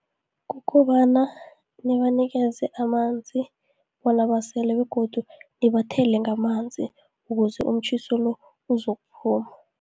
Kukobana nibanikeze amanzi, bona basele, begodu nibathele ngamanzi, ukuze umtjhiso lo, uzokuphuma.